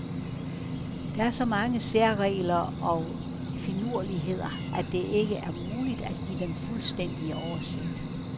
Der er så mange særregler og finurligheder, at det ikke er muligt at give den fuldstændige oversigt.